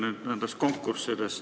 Jutt oli konkurssidest.